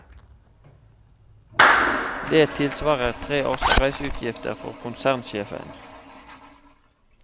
Det tilsvarer tre års reiseutgifter for konsernsjefen.